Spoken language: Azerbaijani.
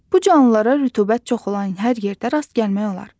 Bu canlılara rütubət çox olan hər yerdə rast gəlmək olar.